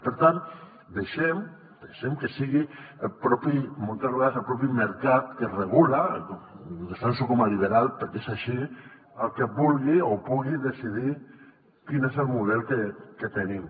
per tant deixem que sigui moltes vegades el propi mercat que reguli i ho defenso com a liberal perquè és així el que vulgui o pugui decidir quin és el model que tenim